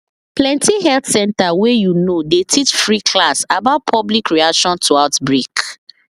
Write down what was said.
plenty health center wey you know dey teach free class about public reaction to outbreak